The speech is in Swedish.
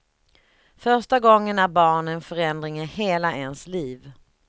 Första gången är barn en förändring i hela ens liv.